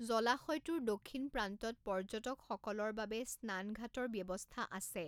জলাশয়টোৰ দক্ষিণ প্ৰান্তত পৰ্যটকসকলৰ বাবে স্নানঘাটৰ ব্যৱস্থা আছে।